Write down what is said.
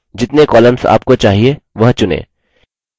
जितने columns आपको चाहिए वह चुनें